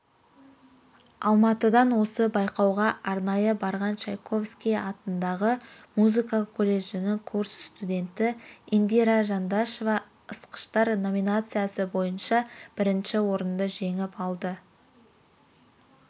алматыдан осы байқауға арнайы барған чайковский атындағы музыка колледжінің курс студенті индира жандашова ысқыштар номинациясы бойынша бірінші орынды жеңіп алды